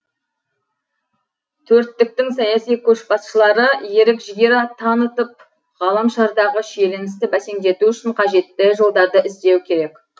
төрттіктің саяси көшбасшылары ерік жігер танытып ғаламшардағы шиеленісті бәсеңдету үшін қажетті жолдарды іздеуі керек